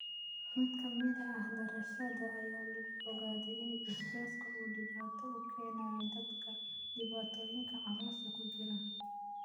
Mid ka mid ah daraasadda ayaa lagu ogaaday in basbaaska uu dhibaato u keeno dadka dhibaatooyinka caloosha ku jira.